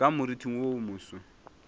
ka moriting wo wo moso